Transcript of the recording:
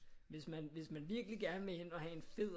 Hvis man hvis man virkelig gerne vil ind og have en fed